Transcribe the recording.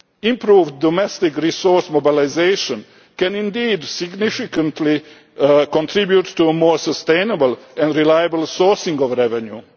Improved domestic resource mobilisation can indeed significantly contribute to a more sustainable and reliable sourcing of revenue.